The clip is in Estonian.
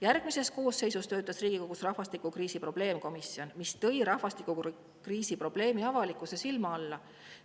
Järgmises koosseisus töötas Riigikogus rahvastikukriisi probleemkomisjon, mis tõi rahvastikukriisi probleemi avalikkuse silme alla.